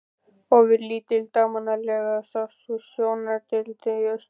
Ofurlítil dagmálaglenna sást við sjóndeildarhring í austri.